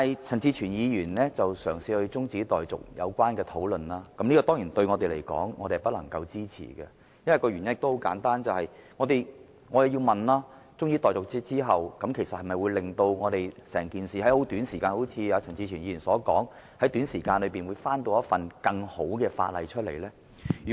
陳志全議員動議將擬議決議案的辯論中止待續的議案，我們當然不能支持，原因很簡單，我們質疑，即使中止待續議案獲得通過，政府能否正如陳志全議員所說，在短時間內再提交一份更好的附屬法例修訂？